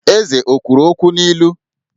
Eze o kwuru okwu n'ilu?